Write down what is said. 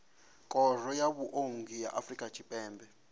khoro ya vhuongi ya afrika tshipembe